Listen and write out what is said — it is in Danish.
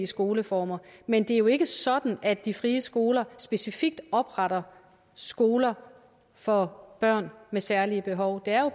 skoleformer men det er jo ikke sådan at de frie skoler specifikt opretter skoler for børn med særlige behov der